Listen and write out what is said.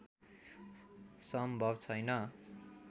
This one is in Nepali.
सम्भव छैन